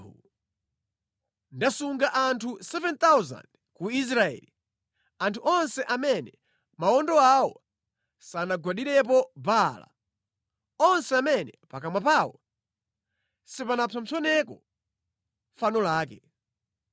Komabe ndasunga anthu 7,000 ku Israeli, anthu onse amene mawondo awo sanagwadirepo Baala, onse amene pakamwa pawo sipanapsompsoneko fano lake.”